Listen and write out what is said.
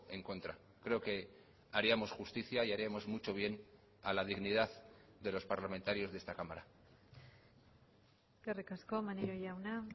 en contra creo que haríamos justicia y haríamos mucho bien a la dignidad de los parlamentarios de esta cámara eskerrik asko maneiro jauna